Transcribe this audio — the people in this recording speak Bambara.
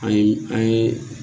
An ye an ye